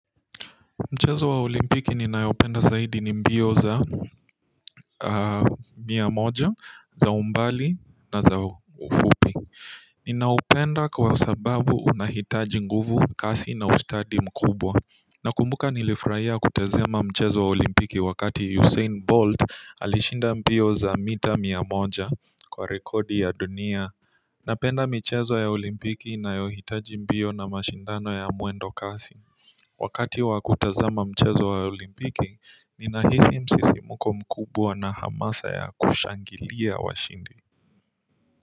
Mchezo wa olimpiki ninaoupenda zaidi ni mbio za mia moja, za umbali na za ufupi ninaupenda kwa sababu unahitaji nguvu, kasi na ustadi mkubwa. Ninakumbuka nilifurahia kutazama mchezo wa olimpiki wakati Usain Bolt alishinda mbio za mita mia moja kwa rekodi ya dunia ninapenda michezo ya olimpiki inayohitaji mbio na mashindano ya mwendo kasi wakati wa kutazama mchezo wa olimpiki ninahisi msisimko mkubwa na hamasa ya kushangilia washindi.